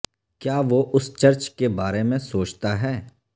کیا وہ اس چرچ کے بارے میں سوچتا ہے